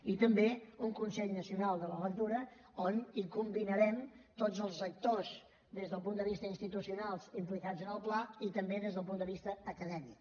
i també un consell nacional de la lectura on combinarem tots els actors des del punt de vista institucional implicats en el pla i també des del punt de vista acadèmic